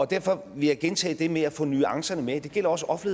derfor vil jeg gentage det med at få nuancerne med det gælder også